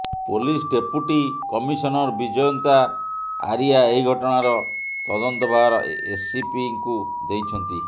police deputy commissioner Bijayanta Arya ଏହି ଘଟଣାର ତଦନ୍ତଭାର ଏସିପିଙ୍କୁ ଦେଇଛନ୍ତି